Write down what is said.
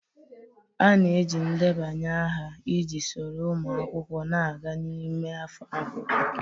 A na-eji ndebanye aha iji soro ụmụ akwụkwọ na-aga n'ime afọ akwụkwọ.